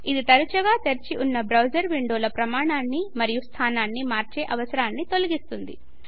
ఇది తరచుగా తెరచి ఉన్న బ్రౌజర్ విండోల పరిమాణాన్ని మరియు స్థానాన్ని మార్చే అవసరాన్ని తొలగిస్తుంది